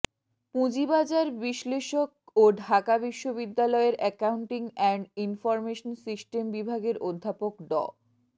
পুঁজিবাজার বিশ্লেষক ও ঢাকা বিশ্ববিদ্যালয়ের অ্যাকাউন্টিং অ্যান্ড ইনফরমেশন সিস্টেম বিভাগের অধ্যাপক ড